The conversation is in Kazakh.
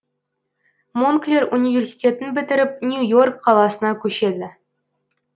монклер университетін бітіріп нью йорк қаласына көшеді